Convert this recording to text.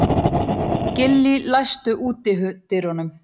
Gillý, læstu útidyrunum.